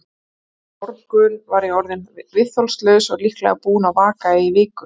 Einn morgun var ég orðinn viðþolslaus og líklega búinn að vaka í viku.